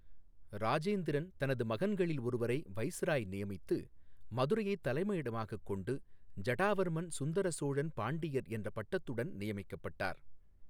இராஜேந்திரன் தனது மகன்களில் ஒருவரை வைசிராய் நியமித்து, மதுரையைத் தலைமையிடமாகக் கொண்டு ஜடாவர்மன் சுந்தர சோழன் பாண்டியர் என்ற பட்டத்துடன் நியமிக்கப்பட்டார்.